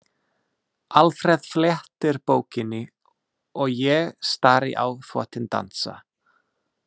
Alfreð flettir bókinni og ég stari á þvottinn dansa.